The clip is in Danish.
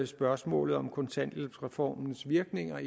spørgsmålet om kontanthjælpsreformens virkninger